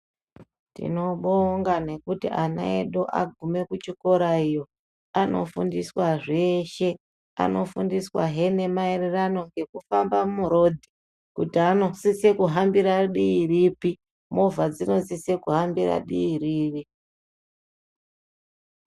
Tinobonga nekuti ana edu aguma kuchikora iyo anofundiswa zveshe. Anofundiswahe nemaererano nekufamba murodhi, kuti anosisire kuhambire dii ripi, movha dzinosisire kuhambire dii ripi.